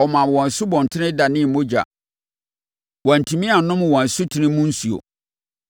Ɔmaa wɔn nsubɔntene danee mogya; wɔantumi annom wɔn asutene mu nsuo.